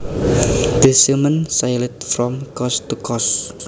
The seaman sailed from coast to coast